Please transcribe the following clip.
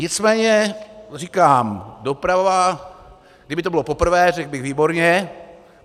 Nicméně říkám, doprava - kdyby to bylo poprvé, řekl bych výborně.